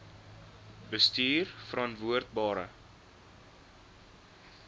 bestuurverantwoordbare